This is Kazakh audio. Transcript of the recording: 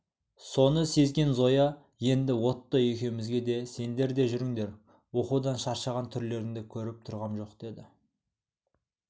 соны сезген зоя енді отто екеумізге де сендер де жүріңдер оқудан шаршаған түрлеріңді көріп тұрғам жоқ деді